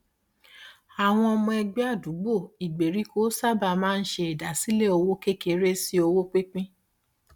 àwọn ọmọ ẹgbẹ àdúgbò ìgbèèríkò sábà máa ń ṣe ìdásílẹ owó kékeré sí owó pínpín